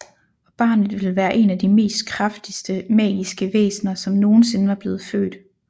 Og barnet ville være en af de mest kraftigste magiske væsner som nogensinde var blevet født